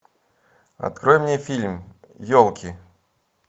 открой мне фильм елки